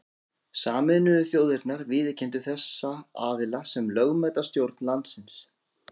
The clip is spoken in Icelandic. Sameinuðu þjóðirnar viðurkenndu þessa aðila sem lögmæta stjórn landsins.